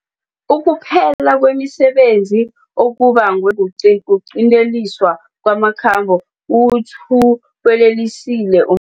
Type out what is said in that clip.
Ukuphela kwemisebenzi okubangwe kuqinteliswa kwamakhambo kuwuthu welelisile um